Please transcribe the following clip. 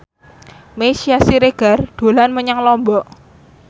Meisya Siregar dolan menyang Lombok